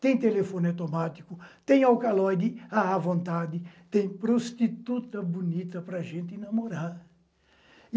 tem telefone automático, tem alcaloide à vontade, tem prostituta bonita para a gente namorar.